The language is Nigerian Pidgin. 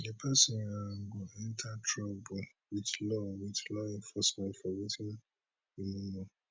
di pesin um go enter trouble wit law wit law enforcement for wetin you no know